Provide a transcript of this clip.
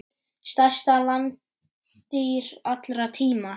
Stærsta landdýr allra tíma.